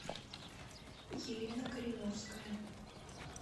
елена кореновская